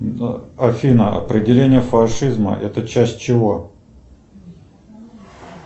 афина определение фашизма это часть чего